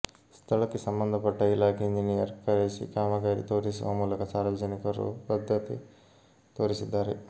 ಸ್ಥಳಕ್ಕೆ ಸಂಬಂಧ ಪಟ್ಟ ಇಲಾಖೆ ಇಂಜಿನಿಯರ್ ಕರೆಸಿ ಕಾಮಗಾರಿ ತೋರಿಸುವ ಮೂಲಕ ಸಾರ್ವಜನಿಕರು ಬದ್ದತೆ ತೋರಿಸಿದ್ದಾರೆ